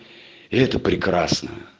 это прекрасно